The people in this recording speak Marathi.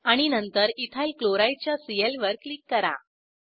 आणि नंतर इथाइल क्लोराइड च्या सीएल वर क्लिक करा